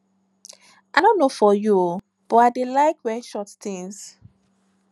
i no know for you but i dey like wear short things